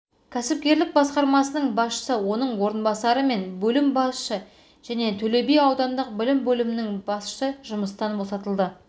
кәсіпкерлік басқармасының басшысы оныңорынбасары мен бөлім басшысы және төлеби аудандық білім бөлімінің басшысы жұмыстан босатылды